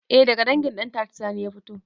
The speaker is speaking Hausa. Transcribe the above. Eh daga dangin ɗantata sani ya fito